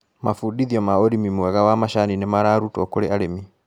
Mabundithio ma ũrĩmi mwega wa macani nĩmararutwo kũrĩ arĩmi.